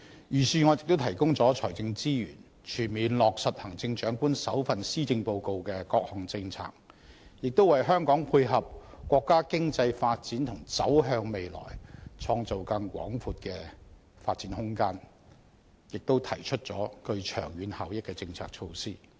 預算案亦提供了財政資源，全面落實行政長官首份施政報告的各項政策，也為香港配合國家經濟發展和走向未來創造更廣闊的發展空間，提出了具長遠效益的政策措施。